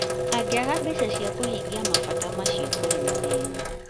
Angĩaga mbeca cia kũhingia mabata macio kũrĩ na thĩna